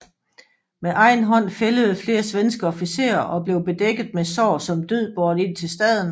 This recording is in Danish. Med egen hånd fældede flere svenske officerer og blev bedækket med sår som død båret ind til staden